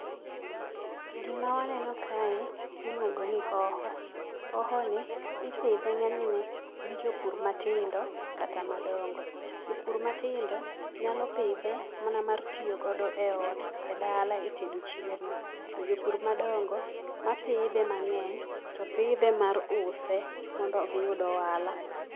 Gima waneno kae iluongo ni hoho. Hohoni ipidhe ng'enyne gi jopur matindo kata madongo. Jopur matindo nyalo pidhe mana mar tiyo godo eot, edala etedo chiemo. To jopur madongo mapidhe mang'eny to pidhe mar use mondo giyud ohala